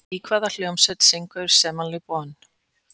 Í hvaða hljómsveit syngur Simon Le Bon?